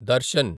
Darshan